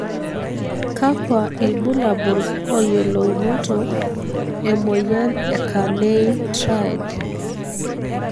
kakua ilbulabul oyiolounoto, emoyian e carney triad?